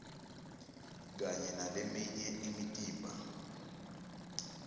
kanye naleminye imitimba